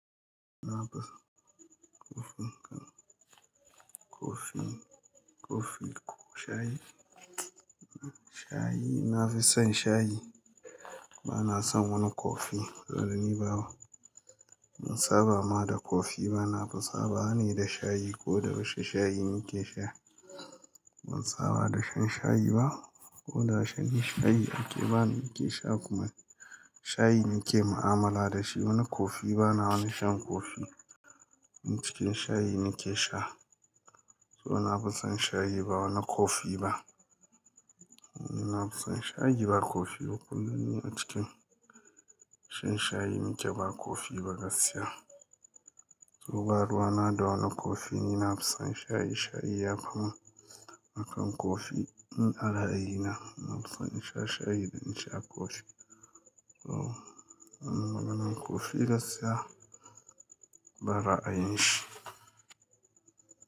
Na fi son kofin ka kofin, kofi ko shayi? Shayi, na fi son shayi. Ba na son wani kofi zan yi ba. Mun saba ma da kofi, ba na fi saba ne da shayi ko da ba shi shayi nake sha. Mun saba da shan shayi ba ko da shan shayi ake bani nake sha kuma shayi nake mu'amala da shi. Wani kofi ba na wani shan kofi. A cikin shayi nake sha. To na fi son shayi ba wani kofi ba. Ni na fi son shayi ba kofi ba. Kullum ni a cikin shan shayi, nake ba kofi ba gaskiya. To baruwa na da wani kofi, ni na fi son shayi. Shayi ya fi mun akan kofi. In a ra'ayina na fi son in sha shayi da in sha kofi. To, wani mananar kofi gaskiya ban ra a yin shi.